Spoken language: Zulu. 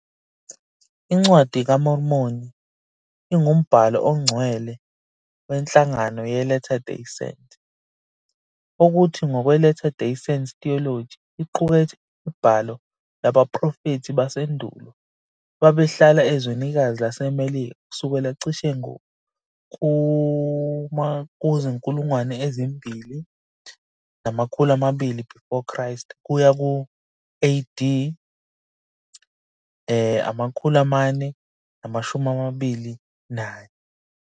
INcwadi kaMormoni ingumbhalo ongcwele wenhlangano yeLatter Day Saint, okuthi, ngokwe-Latter Day Saint theology, iqukethe imibhalo yabaprofethi basendulo ababehlala ezwenikazi laseMelika kusukela cishe ku-2200 BC kuya ku-AD 421.